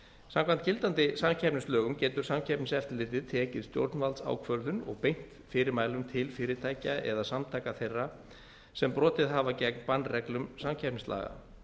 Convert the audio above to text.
samkvæmt gildandi samkeppnislögum getur samkeppniseftirlitið tekið stjórnvaldsákvörðun og beint fyrirmælum til fyrirtækja eða samtaka þeirra sem brotið hafa gegn bannreglum samkeppnislaga